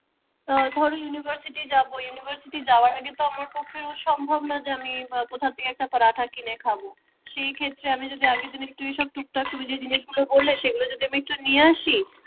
আহ ধরো university যাব university যাওয়ার আগে তো আমার পক্ষে তো সম্ভব না যে আমি এই কোথা থেকে একটা পারাঠা কিনে খাব। সেই ক্ষেত্রে আমি যদি আগের দিন একটু এইসব টুকটাক তুমি যেই জিনিসগুলো বললে সেগুলো যদি আমি একটু নিয়ে আসি